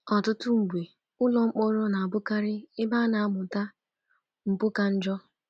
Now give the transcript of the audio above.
Ọtụtụ mgbe, ụlọ mkpọrọ na-abụkarị ebe a na-amụta mpụ ka njọ.